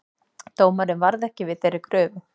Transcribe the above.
Dómarinn varð ekki við þeirri kröfu